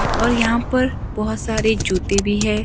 और यहां पर बहोत सारे जुते भी है।